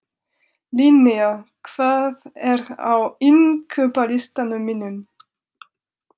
Linnea, hvað er á innkaupalistanum mínum?